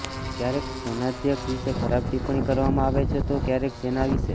ક્યારેક સેનાધ્યક્ષ વિષે ખરાબ ટીપ્પણી કરવામાં આવે છે તો ક્યારેક સેના વિષે